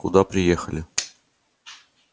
куда приехали